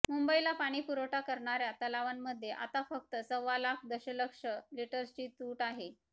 मुंबईला पाणी पुरवठा करणाऱया तलावांमध्ये आता फक्त सवा लाख दशलक्ष लिटर्सची तूट आहे